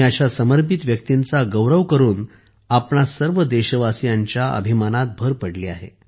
अशा समर्पित व्यक्तींचा गौरव करून आपणा संर्व देशवासीयांच्या अभिमानात भर पडली आहे